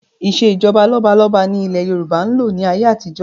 Ìsèjọba lọ́balọ́ba ni ilẹ̀ Yorùbá ń lò ní ayé àtijọ́